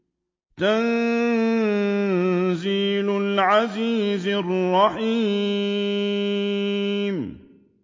تَنزِيلَ الْعَزِيزِ الرَّحِيمِ